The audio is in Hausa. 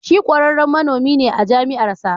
Shi kwararren manomi ne a jami'ar sa.